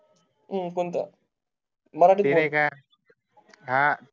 हा कोणतं मराठीत बोल